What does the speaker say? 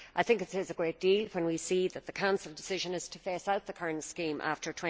I think it says a great deal when we see that the Council decision is to phase out the current scheme after